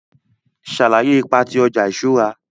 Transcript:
Sàlàyé ipa ti ọja iṣura.